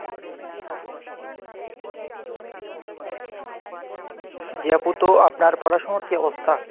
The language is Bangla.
জি আপু তো আপনার পড়াশুনোর কি অবস্থা ?